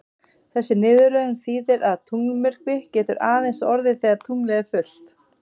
Þessi niðurröðun þýðir að tunglmyrkvi getur aðeins orðið þegar tunglið er fullt.